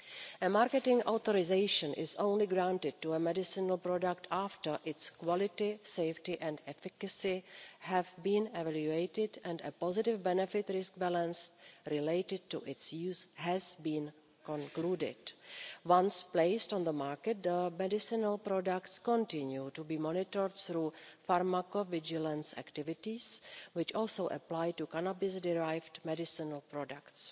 A marketing authorisation is granted for a medicinal product only after its quality, safety and efficacy have been evaluated, and a positive benefit risk balance related to its use has been concluded. Once placed on the market, medicinal products continue to be monitored through pharmacovigilance activities, which also apply to cannabis-derived medicinal products.